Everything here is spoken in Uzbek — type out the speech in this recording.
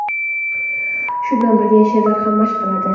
Shu bilan birga she’rlar ham mashq qiladi.